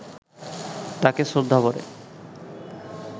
তাঁকে শ্রদ্ধাভরে